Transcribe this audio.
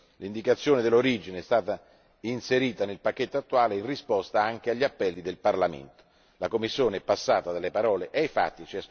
in L'indicazione dell'origine è stata inserita nel pacchetto attuale in risposta anche agli appelli del Parlamento la Commissione è così passata dalle parole ai fatti.